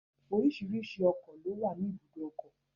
Oríṣìíríṣìí ọkọ̀ ló wà ní ìbùdókọ̀.